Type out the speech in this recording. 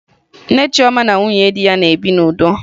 Nne Chioma na nwunye di ya bi n'udo